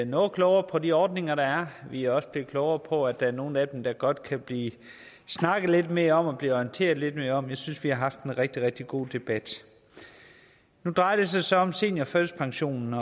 noget klogere på de ordninger der er vi er også blevet klogere på at der er nogle af dem der godt kan blive snakket lidt mere om og blive orienteret lidt mere om jeg synes at vi har haft en rigtig rigtig god debat nu drejer det sig så om seniorførtidspensionen